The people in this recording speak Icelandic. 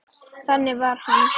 Þannig var hann.